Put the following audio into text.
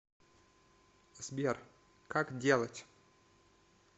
сбер как делать